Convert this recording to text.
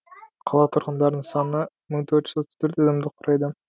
қала тұрғындарының саны мың төрт жүз отыз төрт адамды құрайды